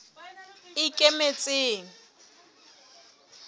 ikemetseng